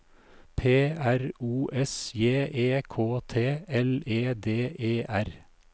P R O S J E K T L E D E R